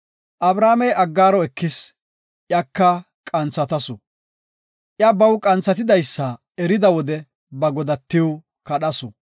Abramey Aggaaro ekis, iyaka qanthatasu. Iya baw qanthatidaysa erida wode ba godatiw kadhasu.